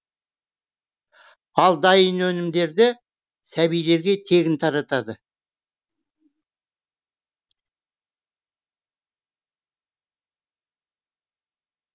ал дайын өнімдерді сәбилерге тегін таратады